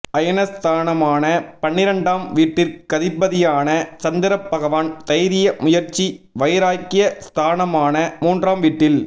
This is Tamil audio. அயன ஸ்தானமான பன்னிரண்டாம் வீட்டிற்கதிபதியான சந்திரபகவான் தைரிய முயற்சி வைராக்ய ஸ்தானமான மூன்றாம் வீட்டில்